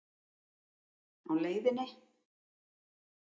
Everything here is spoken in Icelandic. Á LEIÐINNI?